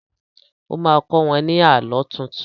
O má kọ́ wọ́n ní Àlọ́ tuntun